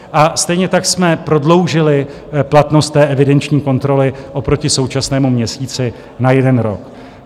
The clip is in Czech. A stejně tak jsme prodloužili platnost té evidenční kontroly oproti současnému měsíci na jeden rok.